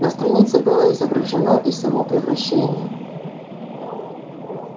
на странице было изображено и само превращение